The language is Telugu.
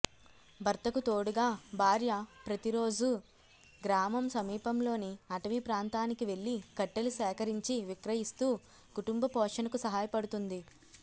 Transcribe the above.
భర్తకు తోడుగా భార్య ప్రతిరోజు గ్రామం సమీపంలోని అటవీ ప్రాంతానికి వెళ్లి కట్టెలు సేకరించి విక్రయిస్తూ కుటుంబ పోషణకు సహాయపడుతోంది